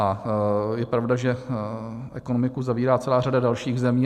A je pravda, že ekonomiku zavírá celá řada dalších zemí.